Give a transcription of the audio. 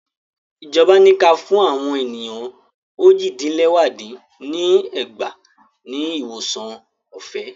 Ìjọba ní kí a fún àwọn ènìyàn ójì dín lẹwá dín ní ẹgbàá ní ìwòsàn ọ̀fẹ́